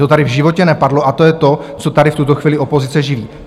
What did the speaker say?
To tady v životě nepadlo a to je to, co tady v tuto chvíli opozice živí.